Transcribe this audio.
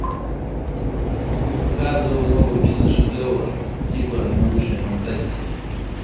показывай новый киношедевр типа научной фантастики